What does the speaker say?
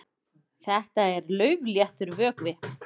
Þetta er laufléttur vökvi.